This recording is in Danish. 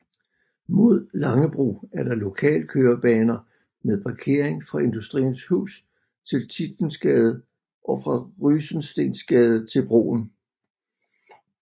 Mod Langebro er der lokalkørebaner med parkering fra Industriens Hus til Tietgensgade og fra Rysensteensgade til broen